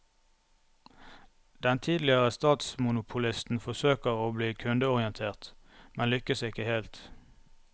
Den tidligere statsmonopolisten forsøker å bli kundeorientert, men lykkes ikke helt.